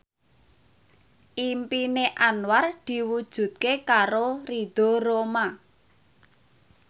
impine Anwar diwujudke karo Ridho Roma